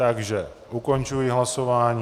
Takže ukončuji hlasování.